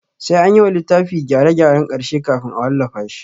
Sai anyi wa littafi gyare gyaren ƙarshe kafin a wallafa shi